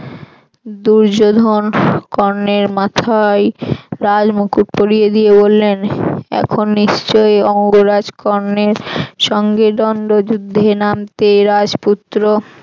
দুর্যোধন কর্ণের মাথায় রাজমুকুট পড়িয়ে দিয়ে বললেন এখন নিশ্চয়ই অঙ্গরাজ কর্ণের সঙ্গে দন্দ্ব যুদ্ধে নামতে রাজপুত্র